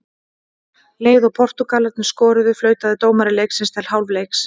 Leið og Portúgalarnir skoruðu, flautaði dómari leiksins til hálfleiks.